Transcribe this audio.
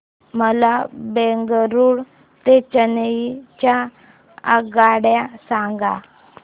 मला बंगळुरू ते चेन्नई च्या आगगाड्या सांगा